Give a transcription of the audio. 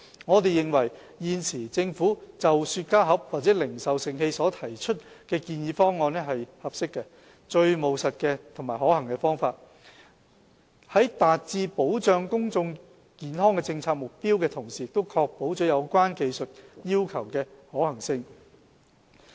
我們認為，現時政府就雪茄盒或零售盛器所提出的建議方案是合適、最務實及可行的方法，能達致保障公眾健康的政策目標，同時亦確保有關技術要求的可行性。